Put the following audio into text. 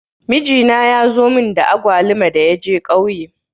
Mijina ya zo mun da agwaluma da ya je ƙauye.